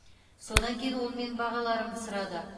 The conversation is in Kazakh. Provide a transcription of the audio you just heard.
содан кейін ол менің бағаларымды сұрады